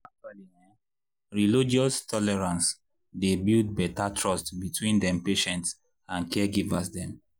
actually[um]relogious tolerance dey build better trust between dem patients and caregivers dem